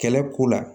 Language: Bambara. Kɛlɛ ko la